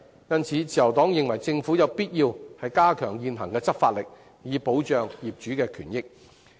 因此，自由黨認為政府有必要加大現行執法的力度，以保障業主權益。